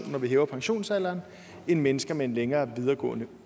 når vi hæver pensionsalderen end mennesker med en længere videregående